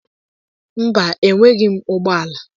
Mba, enweghị m ụgbọala.